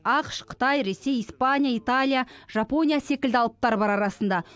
ақш қытай ресей испания италия жапония секілді алыптар бар арасында